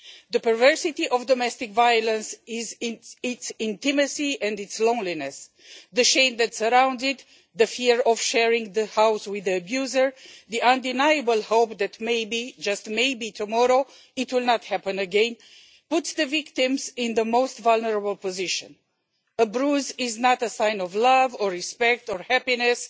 The perversity of domestic violence lies in its intimacy and its loneliness the shame that surrounds it, the fear of sharing the house with the abuser, and the undeniable hope that maybe, just maybe, tomorrow it will not happen again, put the victims in the most vulnerable position. A bruise is not a sign of love or respect or happiness.